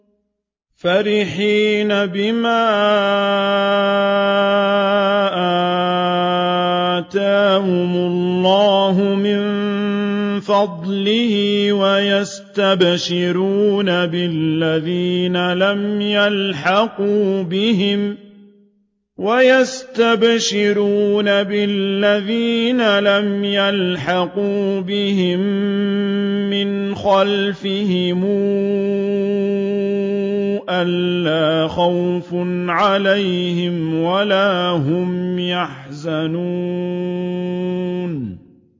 فَرِحِينَ بِمَا آتَاهُمُ اللَّهُ مِن فَضْلِهِ وَيَسْتَبْشِرُونَ بِالَّذِينَ لَمْ يَلْحَقُوا بِهِم مِّنْ خَلْفِهِمْ أَلَّا خَوْفٌ عَلَيْهِمْ وَلَا هُمْ يَحْزَنُونَ